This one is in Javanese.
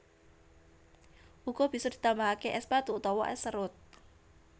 Uga bisa ditambahake es batu utawa es serut